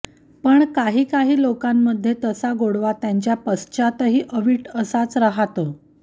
पण काही काही लोकांमध्ये तसा गोडवा त्यांच्या पाश्च्यातही अवीट असाच राहतो